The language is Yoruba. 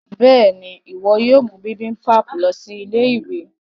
béèni iwọ yóò mú bibimpap lọ sí Ilé-ìwé.